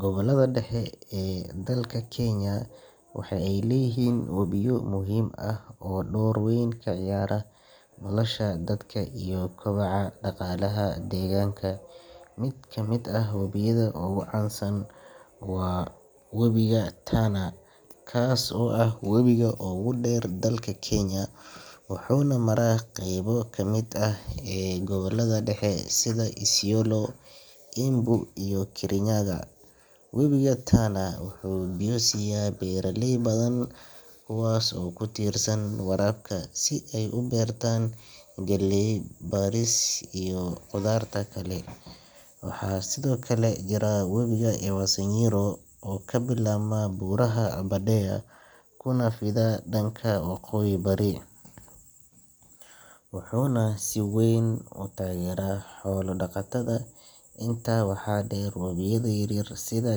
Gobollada dhexe ee dalka Kenya waxa ay leeyihiin wabiyo muhiim ah oo door weyn ka ciyaara nolosha dadka iyo kobaca dhaqaalaha deegaanka. Mid ka mid ah wabiyada ugu caansan waa webiga Tana, kaas oo ah webiga ugu dheer dalka Kenya, wuxuuna maraa qaybo ka mid ah gobollada dhexe sida Isiolo, Embu iyo Kirinyaga. Webiga Tana wuxuu biyo siiya beeraley badan kuwaas oo ku tiirsan waraabka si ay u beertaan galley, bariis, sisin iyo khudaarta kale. Waxaa sidoo kale jira wabiga Ewaso Nyiro oo ka bilaabma Buuraha Aberdare kuna fida dhanka waqooyi-bari, wuxuuna si weyn u taageeraa xoolo-dhaqatada. Intaa waxaa dheer, wabiyada yaryar sida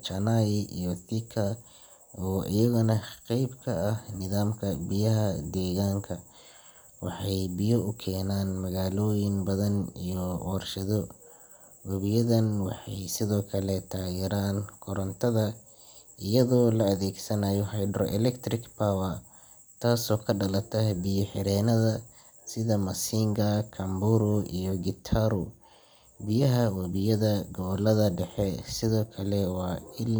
Chania iyo Thika oo iyaguna qayb ka ah nidaamka biyaha deegaanka, waxay biyo u keenaan magaalooyin badan iyo warshado. Wabiyadan waxay sidoo kale taageeraan korontada iyadoo la adeegsanayo hydroelectric power taasoo ka dhalata biyo-xireennada sida Masinga, Kamburu iyo Gitaru. Biyaha wabiyada gobollada dhexe sidoo kale waa il.